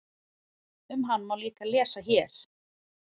Um hann má líka lesa hér.